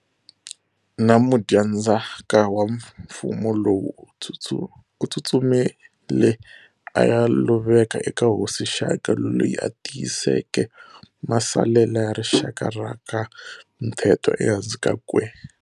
Na mudyandzhaka wa mfumo lowu, u tsutsumile aya luvela eka hosi Shaka, loyi a tiyiseke masalela ya rixaka ra ka Mthethwa ehansi ka kwe.